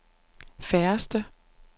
færreste